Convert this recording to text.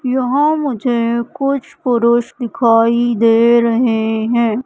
यहां मुझे कुछ पुरुष दिखाई दे रहे हैं।